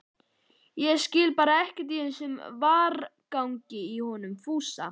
Ég skil bara ekkert í þessum vargagangi í honum Fúsa